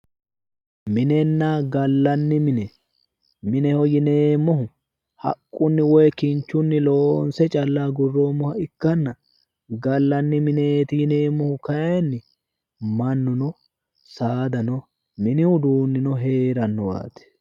Minenna gallanni mine, mineho yinneemmohu haqqu woyi kinchunni loonse calla agurroommoha ikkanna ,gallanni mineeti yinneemmohu kayinni mannuno saadano mini uduunino heeranowaati